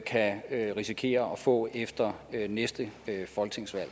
kan risikere at få efter næste folketingsvalg